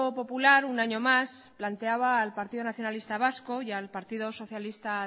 popular un año más planteaba al partido nacionalista vasco y al partido socialista